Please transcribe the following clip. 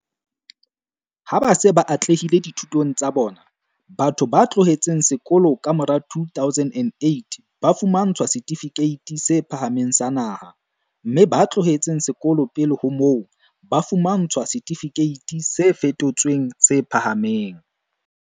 Ha ba se ba atlehile dithutong tsa bona, batho ba tlohetseng sekolo ka mora 2008 ba fumantshwa Setifikeiti se Phahameng sa Naha, mme ba tlohetseng sekolo pele ho moo, ba fumantshwa Setifikeiti se Fetotsweng se Phahameng.